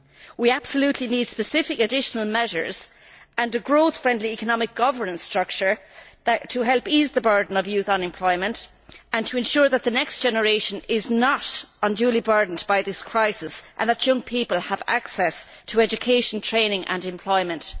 We absolutely need specific additional measures and a growth friendly economic governance structure to help ease the burden of youth unemployment and to ensure that the next generation is not unduly burdened by this crisis, and that young people have access to education, training and employment.